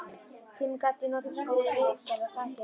Tímann gat ég notað til viðgerða á þakinu.